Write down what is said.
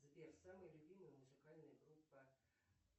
сбер самая любимая музыкальная группа